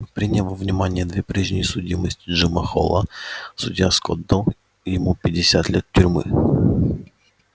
приняв во внимание две прежние судимости джима холла судья скотт дал ему пятьдесят лет тюрьмы